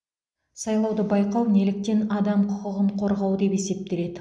сайлауды байқау неліктен адам құқығын қорғау деп есептеледі